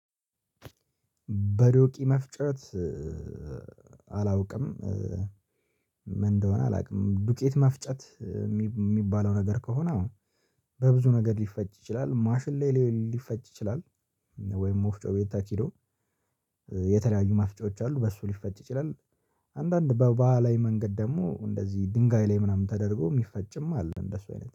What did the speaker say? በዶቂ መፍጨት አላውቅም። ምን እንደሆነ አላውቅም ዱቄት መፍጨት ሚባለው ነገር ከሆነ አዎ በብዙ ነገር ሊፈጭ ይችላል። ማሽን ላይ ሊፈጭ ይችላል ወይም መፍጮ ቤት ተኪዶ የተለያዩ መፍጫዎች አሉ በሱ ሊፈጭ ይችላል አንዳንድ በባህላዊ መንገድ ደግሞ እንደዚህ ድንጋይ ላይ ምናምን ተደርጎ የሚፈጭም አለ እንደሱ አይነት